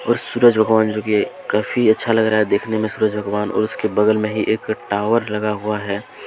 सूरज भगवान जी की काफी अच्छा लग रहा है देखने में सूरज भगवान और उसके बगल में ही एक टावर लगा हुआ है।